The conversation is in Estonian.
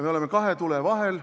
Me oleme kahe tule vahel.